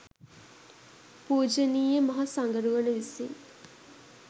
පූජනීය මහ සඟරුවන විසින්